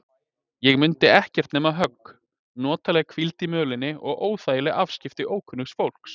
Ég mundi ekkert nema högg, notalega hvíld í mölinni og óþægileg afskipti ókunnugs fólks.